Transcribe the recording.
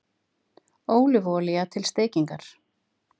Ólífuolía til steikingar